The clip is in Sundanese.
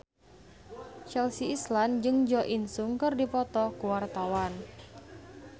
Chelsea Islan jeung Jo In Sung keur dipoto ku wartawan